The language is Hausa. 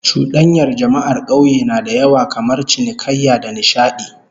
Cudanyar jama'ar kauye na da yawa kamar cinikayya da nishadi